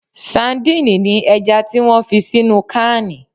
Sandini ni ẹja tí wón fi sínú cáánì